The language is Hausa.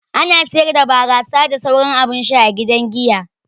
Ana siyar da barasa da sauran abun sha a gidan giya.